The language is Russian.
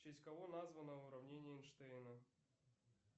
в честь кого названо уравнение эйнштейна